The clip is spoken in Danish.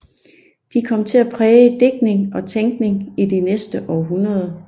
De kom til at præge digtning og tænkning i de næste århundreder